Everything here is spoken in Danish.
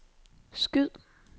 skyd